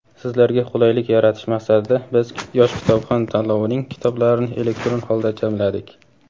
Sizlarga qulaylik yaratish maqsadida biz "Yosh kitobxon" tanlovining kitoblarini elektron holda jamladik.